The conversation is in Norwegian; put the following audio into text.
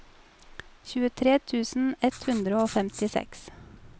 tjuetre tusen ett hundre og femtiseks